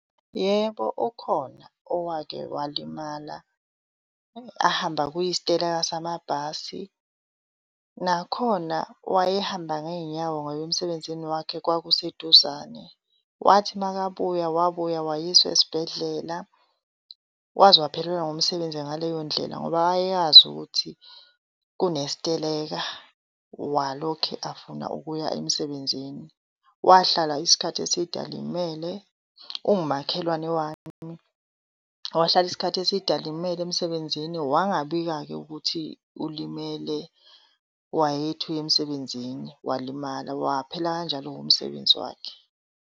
Yebo, ukhona owake walimala ahamba kuyisiteleka samabhasi. Nakhona wayehamba ngey'nyawo ngoba emsebenzini wakhe kwakuseduzane. Wathi makabuya, wabuya wayiswa esibhedlela. Waze waphelelwa ngumsebenzi ngaleyo ndlela ngoba wayeyazi ukuthi kunesiteleka walokhe afuna ukuya emsebenzini. Wahlala isikhathi eside alimele. Uwumakhelwane wami. Wahlala isikhathi eside alimele emsebenzini wangabika-ke ukuthi ulimele, wayethi uyemsebenzini walimala. Waphela kanjalo-ke umsebenzi wakhe.